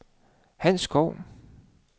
Hans Schou